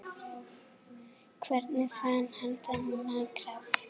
Hvernig fann hann þennan kraft?